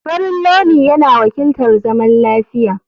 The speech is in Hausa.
Farin launi yana wakiltar zaman lafiya.